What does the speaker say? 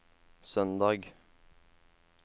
søndag